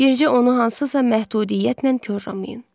Bircə onu hansısa məhdudiyyətlə korlamayın.